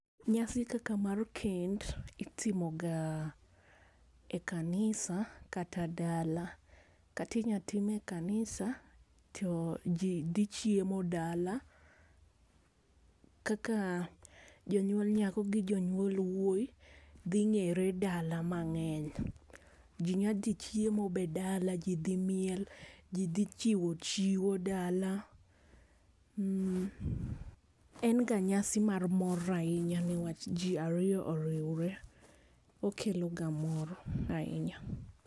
Nyasi kaka mar kend itimo ga e kanisa kata dala kata inya time e kanisa to jii dhi chiemo dala. Kaka jonyuol nyako gi janyuol wuoyi dhi ng'ere dala mang'eny jii nya dhi chiempo dala jii dhi miel jii dhi chiwo chiwo dala. En ga nyasi mar mor ahinya niwach jii ariyo oriwre, okelo ga mor ahinya.